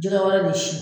Jɛgɛ wɛrɛ ni si